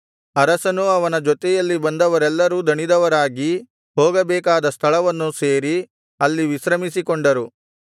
ಅರಸನೂ ಅವನ ಜೊತೆಯಲ್ಲಿ ಬಂದವರೆಲ್ಲರೂ ದಣಿದವರಾಗಿ ಹೋಗಬೇಕಾದ ಸ್ಥಳವನ್ನು ಸೇರಿ ಅಲ್ಲಿ ವಿಶ್ರಮಿಸಿಕೊಂಡರು